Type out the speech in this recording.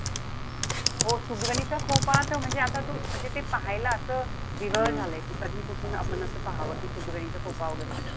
हो सुगरणीचा खोपा त म्हणजे आता तो म्हणजे ते पाहायला असं वेगळं झालंय. कि कधी कुठून आपण असं पाहावं. कि सुगरणीचा खोपा वगैरे.